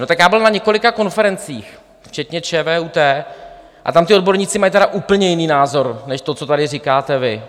No tak já byl na několika konferencích, včetně ČVUT, a tam ti odborníci mají tedy úplně jiný názor než to, co tady říkáte vy.